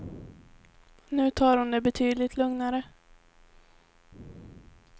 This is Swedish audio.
Nu tar hon det betydligt lugnare.